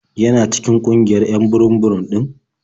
Yana cikin ƙungiyar 'yan burum-burum ɗin?